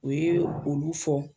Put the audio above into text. U ye olu fɔ